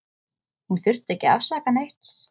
Hún þurfti ekki að afsaka neitt.